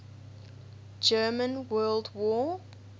german world war